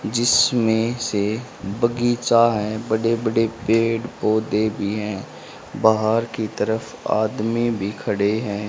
जिसमें से बगीचा हैं बड़े बड़े पेड़ पौधे भी हैं बाहर की तरफ आदमी भी खड़े हैं।